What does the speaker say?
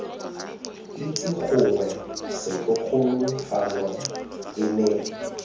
itse gongwe setlogolo fano ene